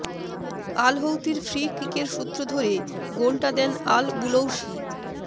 আল হৌতির ফ্রি কিকের সূত্র ধরে গোলটা দেন আল বুলৌসি